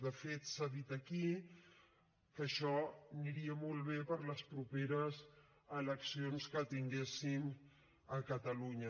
de fet s’ha dit aquí que això aniria molt bé per a les properes eleccions que tinguéssim a catalunya